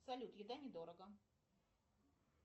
салют еда недорого